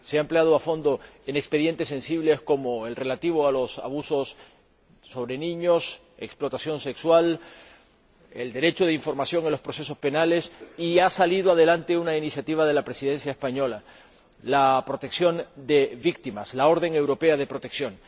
Se ha empleado a fondo en expedientes sensibles, como el relativo a los abusos de niños, la explotación sexual, el derecho de información en los procesos penales, y ha salido adelante una iniciativa de la Presidencia española la protección de las víctimas, la orden europea de protección.